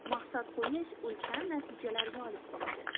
Maqsad qo‘yish ulkan natijalarga olib keladi.